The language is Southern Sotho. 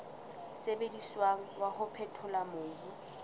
sebediswang wa ho phethola mobu